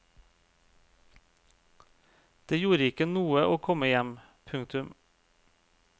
Det gjorde ikke noe å komme hjem. punktum